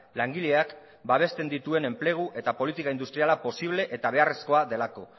langileak babesten dituen enplegu eta politika industriala posible eta beharrezkoa delako